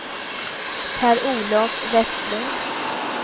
Per-Olof Westlund